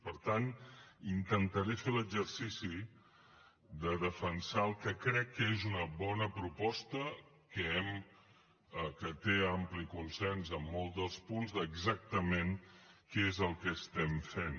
per tant intentaré fer l’exercici de defensar el que crec que és una bona proposta que té ampli consens en molts dels punts d’exactament què és el que estem fent